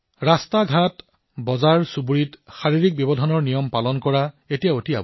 পথত বজাৰত গলিত শাৰীৰিক ব্যৱধানৰ নিয়ম পালন কৰাটো অতিশয় আৱশ্যক